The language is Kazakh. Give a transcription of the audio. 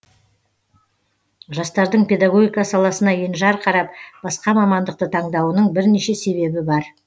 жастардың педагогика саласына енжар қарап басқа мамандықты таңдауының бірнеше себебі бар